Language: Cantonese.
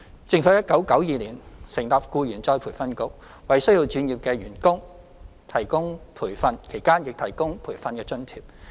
政府在1992年成立僱員再培訓局，為需要轉業的員工提供培訓，其間亦提供培訓津貼。